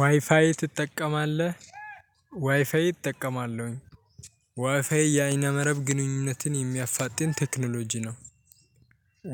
ዋይፋይ ትጠቀማለህ? ዋይፋይ እጠቀማለሁኝ ዋይፋይ የበይነ መረብ ግንኙነትን የሚያፋጥን ቴክኖሎጂ ነው